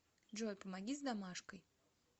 джой помоги с домашкой